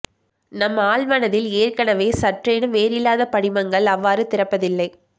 நம் ஆழ்மனதில் ஏற்கனவே சற்றேனும் வேர் இல்லாத படிமங்கள் அவ்வாறு திறப்பதில்லை